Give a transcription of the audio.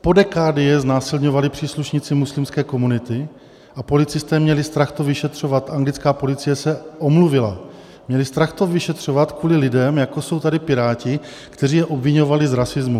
Po dekády je znásilňovali příslušníci muslimské komunity a policisté měli strach to vyšetřovat, anglická policie se omluvila, měli strach to vyšetřovat kvůli lidem, jako jsou tady Piráti, kteří je obviňovali z rasismu.